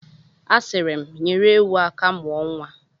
A siri m, nyere ewu aka mụọ nwa.